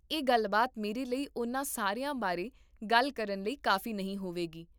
ਇਹ ਗੱਲਬਾਤ ਮੇਰੇ ਲਈ ਉਨ੍ਹਾਂ ਸਾਰਿਆਂ ਬਾਰੇ ਗੱਲ ਕਰਨ ਲਈ ਕਾਫ਼ੀ ਨਹੀਂ ਹੋਵੇਗੀ